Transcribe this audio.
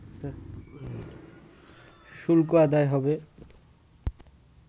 শুল্ক আদায় হবে